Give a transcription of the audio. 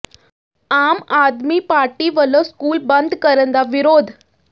ਆਮ Aadmi Party ਵਲੋਂ school ਬੰਦ ਕਰਨ ਦਾ ਵਿਰੋਧ